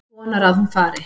Vonar að hún fari.